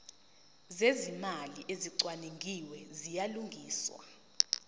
zezimali ezicwaningiwe ziyalungiswa